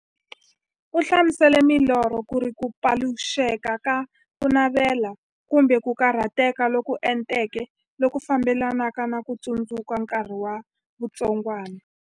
U hlamusele milorho kuri ku paluxeka ka kunavela, kumbe ku karhateka loku enteke loku fambelanaka na ku tsundzuka nkarhi wa vutsongwana.